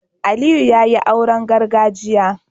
Aliyu yayi auren gargajiya